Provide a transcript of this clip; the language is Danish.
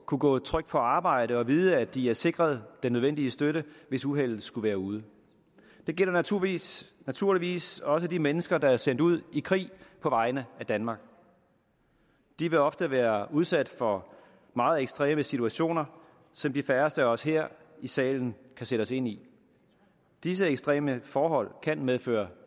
kunne gå trygt på arbejde og vide at de er sikret den nødvendige støtte hvis uheldet skulle være ude det gælder naturligvis naturligvis også de mennesker der er sendt ud i krig på vegne af danmark de vil ofte være udsat for meget ekstreme situationer som de færreste af os her i salen kan sætte os ind i disse ekstreme forhold kan medføre